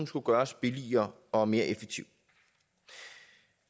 skulle gøres billigere og mere effektiv